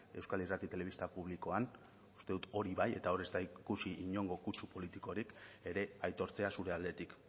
euskal irrati telebista publikoan uste dut hori bat eta hor ez da ikusi inongo kutsu politikori ere aitortzea zurea aldetik